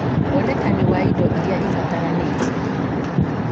wonekani wa indo iria ibataranĩtie